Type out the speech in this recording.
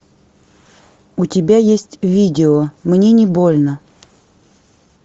у тебя есть видео мне не больно